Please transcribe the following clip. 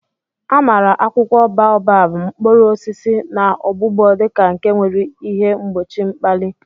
Amara akwụkwọ baobab, mkpụrụ osisi, na ogbugbo di ka nke nwere ihe mgbochi mkpali.